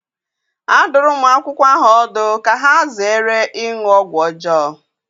A dụrụ ụmụ akwụkwọ ahụ ọdụ ka ha zere ịṅụ ọgwụ ọjọọ.